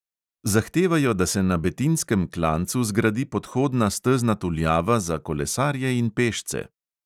Zahtevajo, da se na betinjskem klancu zgradi podhodna stezna tuljava za kolesarje in pešce.